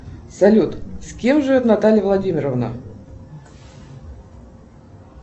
салют с кем живет наталья владимировна